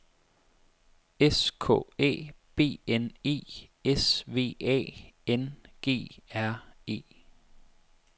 S K Æ B N E S V A N G R E